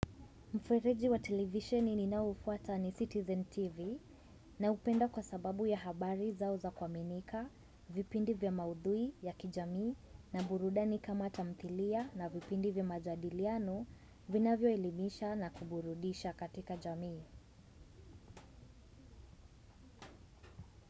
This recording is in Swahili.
Mfereji wa televisheni ninaoufuata ni Citizen TV naupenda kwa sababu ya habari zao za kuaminika, vipindi vya maudhui ya kijamii na burudani kama tamthilia na vipindi vya majadiliano vinavyoelimisha na kuburudisha katika jamii.